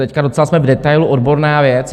Teď docela jsme v detailu, odborná věc.